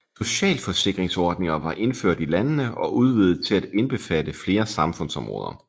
Socialforsikringsordninger var indført i landene og udvidet til at indbefatte flere samfundsområder